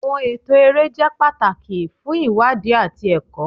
Awọn ẹtọ ere jẹ pataki fun iwadi ati ẹkọ.